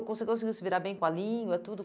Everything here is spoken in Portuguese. conseguiu se virar bem com a língua e tudo?